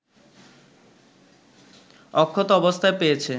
অক্ষত অবস্থায় পেয়েছে